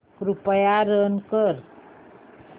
कृपया रन कर